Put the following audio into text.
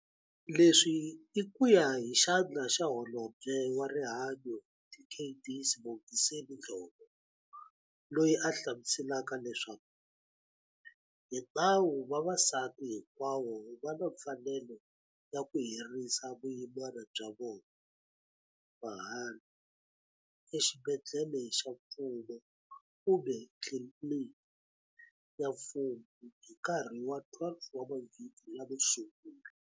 Leswi i ku ya hi Xandla xa Holobye wa Rihanyo Dkd Sibongiseni Dhlomo, loyi a hlamuselaka leswaku, hi nawu vavasati hinkwavo va na mfanelo ya ku herisa vuyimana bya vona, mahala, exibedhlele xa mfumo kumbe tliliniki ya mfumo hi nkarhi wa 12 wa mavhiki lamo sungula.